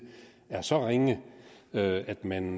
er så ringe at man